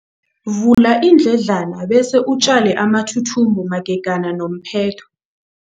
Vula iindledlana bese utjale amathuthumbo magega nomphetho.